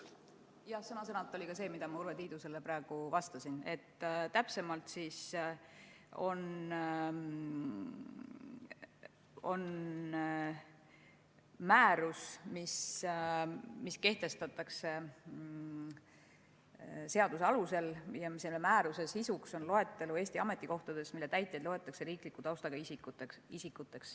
Sõna-sõnalt ka see, mida ma Urve Tiidusele praegu vastasin, et täpsemalt on määruse sisuks, mis kehtestatakse seaduse alusel, loetelu Eesti ametikohtadest, mille täitjaid loetakse riikliku taustaga isikuteks.